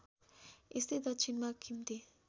यस्तै दक्षिणमा खिम्ती